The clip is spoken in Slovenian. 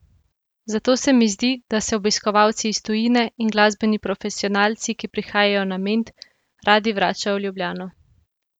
Zato se mi zdi, da se obiskovalci iz tujine in glasbeni profesionalci, ki prihajajo na Ment, radi vračajo v Ljubljano.